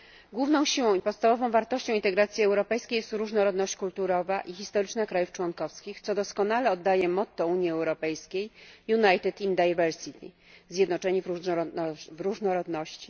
Główną siłą i podstawową wartością integracji europejskiej jest różnorodność kulturowa i historyczna państw członkowskich, co doskonale oddaje motto Unii Europejskiej zjednoczeni w różnorodności.